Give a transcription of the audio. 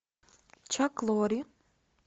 чак лори